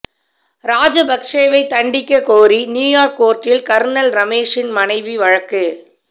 ராஜபக்சேவைத் தண்டிக்கக் கோரி நியூயார்க் கோர்ட்டில் கர்ணல் ரமேஷின் மனைவி வழக்கு